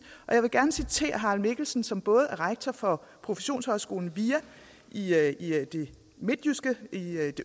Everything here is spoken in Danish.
og jeg vil gerne citere harald mikkelsen som både er rektor for professionshøjskolen via i det